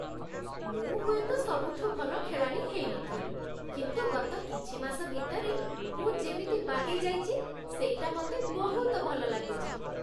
ମୁଁ ହୁଏତ ସବୁଠୁ ଭଲ ଖେଳାଳି ହେଇନଥିବି, କିନ୍ତୁ ଗତ କିଛି ମାସ ଭିତରେ ମୁଁ ଯେମିତି ବାଗେଇଯାଇଛି, ସେଇଟା ମତେ ବହୁତ ଭଲ ଲାଗୁଛି ।